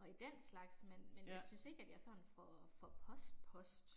og i den slags, men men jeg synes ikke at jeg sådan får får post post